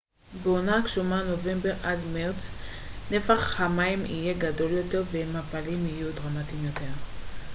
בעונה הגשומה נובמבר עד מרץ נפח המים יהיה גדול יותר והמפלים יהיו דרמטיים יותר